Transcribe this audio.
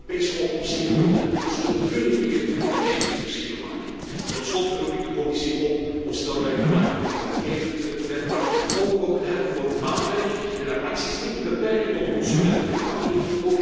Europese oplossingen moeten, zullen, kúnnen hier echt het verschil maken. Tot slot roep ik de Commissie op om snel werk te maken van het wetgevend werk, maar ook oog te hebben voor maatwerk en haar acties niet te beperken tot consumentenverpakkingen.